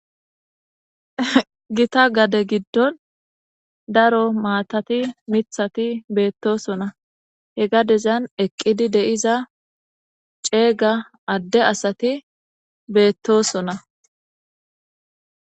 gita gade giddon daro maatati mithati beettosona he gadezan eqqidi deiza ceega adde asati beettosona